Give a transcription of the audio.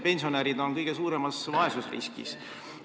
Pensionärid on ju kõige suuremas vaesusriskis.